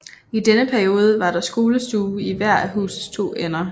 I denne periode var der skolestue i hver af husets to ender